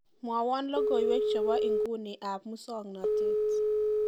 mwowon logoiwek chebo inguni ab musong'notet